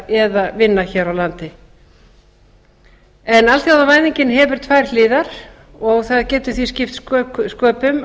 eða vinna hér á landi það getur því skipt sköpum